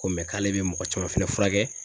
Ko k'ale bɛ mɔgɔ caman fɛnɛ furakɛ.